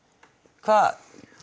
hvað